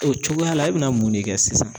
O cogoya la e bɛna mun ne kɛ sisan?